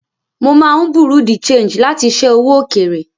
Mo máa ń Bureau de Change láti ṣé owó òkèèrè.